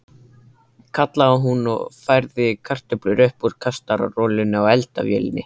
kallaði hún og færði kartöflur upp úr kastarolunni á eldavélinni.